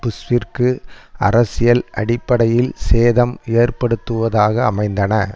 புஷ்ஷிற்கு அரசியல் அடிப்படையில் சேதம் ஏற்படுத்துவதாக அமைந்தன